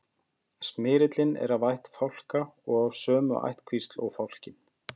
smyrillinn er af ætt fálka og af sömu ættkvísl og fálkinn